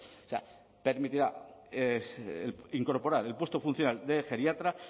o sea permitirá incorporar el puesto funcional de geriatra